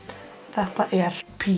þetta er